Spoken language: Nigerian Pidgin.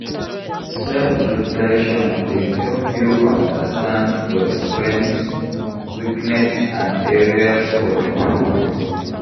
Self-reflection dey help you understand your strengths, weakness and areas for improvement.